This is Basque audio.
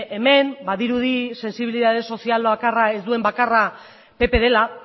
hemen badirudi sentsibilitate sozial ez duen bakarra pp dela